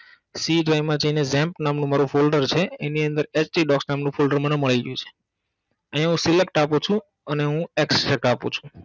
c drive માં જઈને jump નામનું મારુ folder છે એની અંદર hdocs નામનું મારુ folder મને મળી ગયું છે આયા હુ select છું અને હુ Extract આપું છું.